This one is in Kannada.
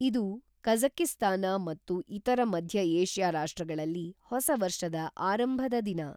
ಇದು ಕಜಕಿಸ್ತಾನ ಮತ್ತು ಇತರ ಮಧ್ಯ ಏಷ್ಯಾ ರಾಷ್ಟ್ರಗಳಲ್ಲಿ ಹೊಸ ವರ್ಷದ ಆರಂಭದ ದಿನ